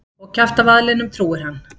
Og kjaftavaðlinum trúir hann.